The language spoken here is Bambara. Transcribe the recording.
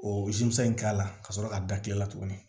O in k'a la ka sɔrɔ ka da kile la tuguni